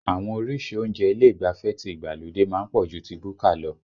Àwọn orísìí oúnjẹ ilé ìgbafẹ́ ti ìgbàlódé má ń pọ̀ ju ti búkà lọ